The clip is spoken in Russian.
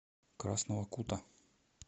красного кута